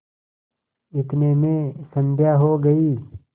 इतने में संध्या हो गयी